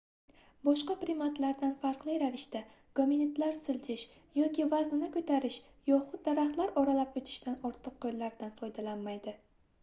boshqa primatlardan farqli ravishda gominidlar siljish yoki vaznini koʻtarish yoxud daraxtlar oralab oʻtishda ortiq qoʻllaridan foydalanmaydi